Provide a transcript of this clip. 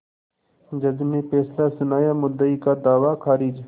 जज ने फैसला सुनायामुद्दई का दावा खारिज